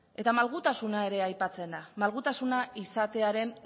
eta malgutasuna ere aipatzen da malgutasuna izatearen